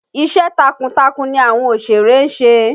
Iṣẹ́ takuntakun ni àwọn òṣèré ń ṣe